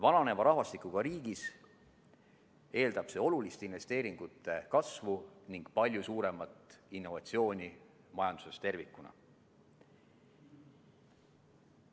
Vananeva rahvastikuga riigis eeldab see olulist investeeringute kasvu ning palju suuremat innovatsiooni majanduses tervikuna.